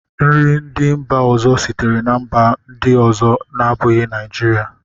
nri ndị mba ọzọ sitere na mba ndị ọzọ na-abụghị Naijiria